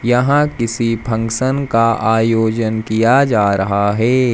यहां किसी फंक्शन का आयोजन किया जा रहा है।